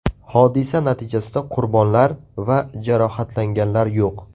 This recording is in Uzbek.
Hodisa natijasida qurbonlar va jarohatlanganlar yo‘q.